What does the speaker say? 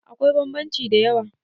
akwai bambanci da yawa